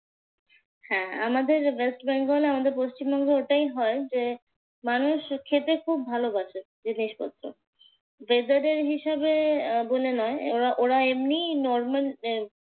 হ্যাঁ আমাদের ওয়েস্ট বেঙ্গলে আমাদের পশ্চিমবঙ্গে ওটাই হয়। যে মানুষ খেতে খুব ভালোবাসে জিনিসপত্র। dessert এর হিসেবে বলে নয়। এরা ওরা এমনিই normal